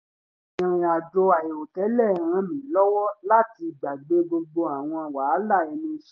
ìrìn àjò àìrò tẹ́lẹ̀ ràn mí lọ́wọ́ láti gbàgbé gbogbo àwọn wàhálà ẹnu iṣẹ́